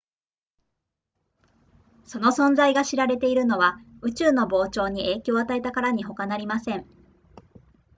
その存在が知られているのは宇宙の膨張に影響を与えたからにほかなりません